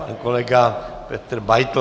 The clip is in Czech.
Pan kolega Petr Beitl.